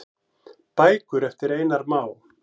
Bækur eftir Einar Má.